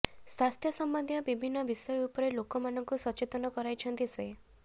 ସ୍ୱାସ୍ଥ୍ୟ ସମ୍ବନ୍ଧିତ ବିଭିନ୍ନ ବିଷୟ ଉପରେ ଲୋକମାନଙ୍କୁ ସଚେତନ କରାଇଛନ୍ତି ସେ